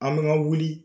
An bɛ ka wuli